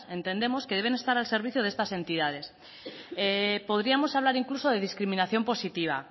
entendemos que deben estar al servicio de estas entidades podríamos hablar incluso de discriminación positiva